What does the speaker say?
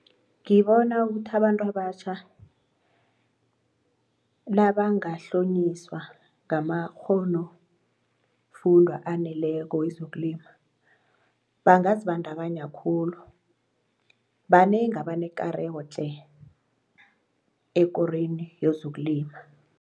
Ngibona ukuthi abantu abatjha nabangahlonyiswa ngamakgho-nofundwa aneleko wezokulima bangazibandakanya khulu banengi abanekareko tle. ekorweni yezokulima.